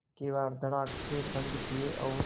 किवाड़ धड़ाकेसे बंद किये और